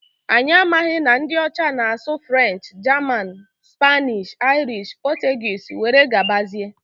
Anyi amaghi na ndi ọcha na asụ French, German, Spanish, Irish, Portuguese were gabazia.